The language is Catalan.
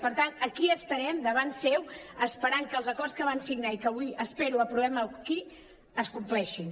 per tant aquí estarem davant seu esperant que els acords que van signar i que avui espero aprovem aquí es compleixin